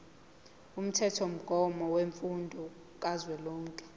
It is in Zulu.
umthethomgomo wemfundo kazwelonke